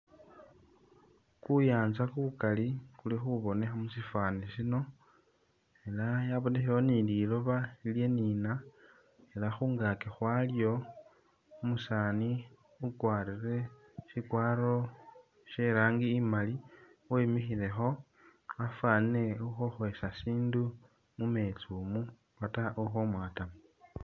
Ku yaanza kukali kuli khubonekha mu syifwaani sino ela yabonekhayo ni liloba lilyanina ela khungaaki khwalyo umusaani ukwarire sikwaro sye i'rangi imali wemikhilekho wafwanile ukhokhwesa sindu mu meetsi umu uba ta ukhomwaatamu.